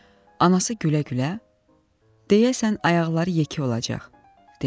anası gülə-gülə deyəsən, ayaqları yekə olacaq, dedi.